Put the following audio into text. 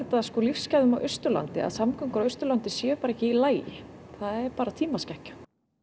lífsgæðum á Austurlandi að samgöngur á Austurlandi séu bara ekki í lagi það er bara tímaskekkja